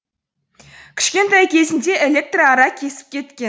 кішкентай кезінде электр ара кесіп кеткен